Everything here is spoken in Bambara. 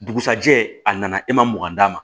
Dugusajɛ a nana e ma mugan d'a ma